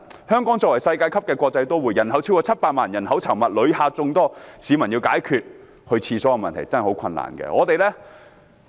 香港作為世界級的國際都會，人口超過700萬，人口稠密，旅客眾多，市民要解決如廁的問題真的十分困難。